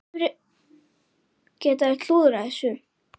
Geta þeir klúðrað þessu?